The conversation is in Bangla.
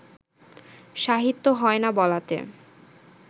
সাহিত্য হয় না বলাতে